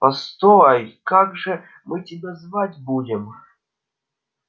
постой как же мы тебя звать будем